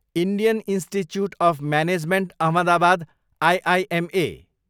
Indian institute of management Ahmedabad, IIMA